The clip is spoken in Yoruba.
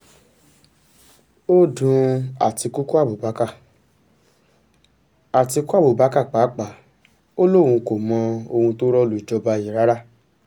ó dun àtikukú abubakar àtikukú abubakar pàápàá ò lóun ò mọ ohun tó rọ́ lu jọba yìí rárá